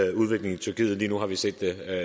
tyrkiet til eu og